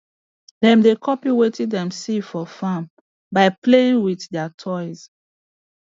dem dey copy wetin dem see for farm by playing with their toys